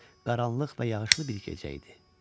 Qaranlıq və yağışlı bir gecə idi.